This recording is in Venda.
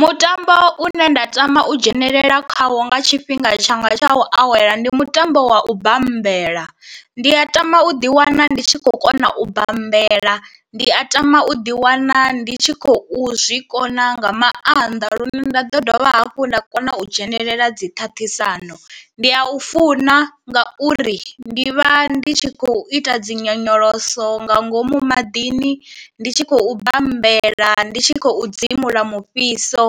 Mutambo une nda tama u dzhenelela khawo nga tshifhinga tshanga tsha u awela ndi mutambo wa u bambela, ndi a tama u ḓi wana ndi tshi khou kona u bambela, ndi a tama u ḓi wana ndi tshi khou zwi kona nga maanḓa lune nda dovha hafhu nda u dzhenelela dzi ṱhaṱhisano, ndi a u funa ngauri ndi vha ndi tshi khou ita dzi nyonyoloso nga ngomu maḓini, ndi tshi khou bambela, ndi tshi khou dzimula mufhiso